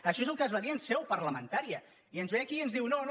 això és el que es va dir en seu parlamentària i ens ve aquí i ens diu no no